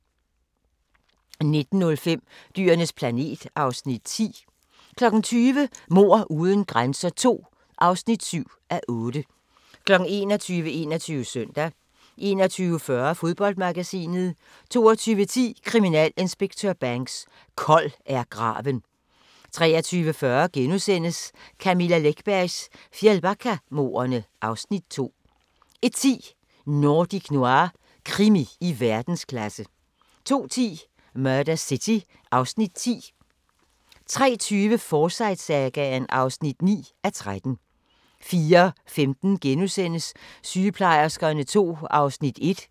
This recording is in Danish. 19:05: Dyrenes planet (Afs. 10) 20:00: Mord uden grænser II (7:8) 21:00: 21 Søndag 21:40: Fodboldmagasinet 22:10: Kriminalinspektør Banks: Kold er graven 23:40: Camilla Läckbergs Fjällbackamordene (Afs. 2)* 01:10: Nordic Noir – krimi i verdensklasse 02:10: Murder City (Afs. 10) 03:20: Forsyte-sagaen (9:13) 04:15: Sygeplejerskerne II (Afs. 1)*